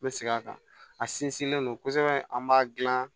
N bɛ segin a kan a sinsinlen don kosɛbɛ an b'a dilan